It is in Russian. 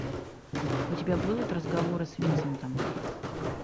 у тебя будут разговоры с винсентом